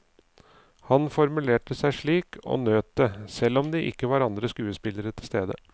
Han formulerte seg slik, og nøt det, selv om det ikke var andre skuespillere til stede.